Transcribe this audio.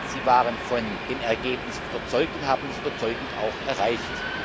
Sie waren von dem Ergebnis überzeugt und haben es auch überzeugend erreicht.